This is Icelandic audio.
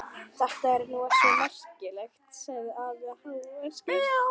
Þetta er nú ekki svo merkilegt! sagði afi hæverskur.